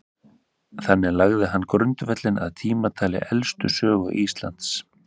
þannig lagði hann grundvöllinn að tímatali elstu sögu íslands